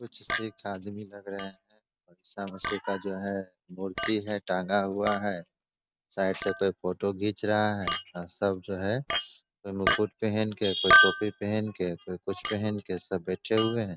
कुछ सिख आदमी लग रहे है का जो है मूर्ति है टांगा हुआ है साइड से कोई फोटो खीच रहा है सब जो है कोई मुकुट पहन के कोई टोपी पहन के कोई कुछ पहन के सब बैठे हुए है।